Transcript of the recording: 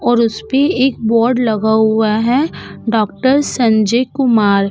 और उस पे एक बोर्ड लगा हुआ है डॉक्टर संजय कुमार।